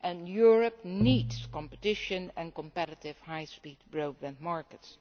Europe needs competition and competitive high speed broadband markets.